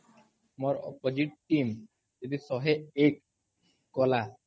ମୋର୍ opposite team ଯଦି ଶହେ ଏକ୍ କଲା